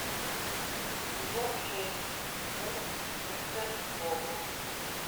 сезон шесть мульт мистер робот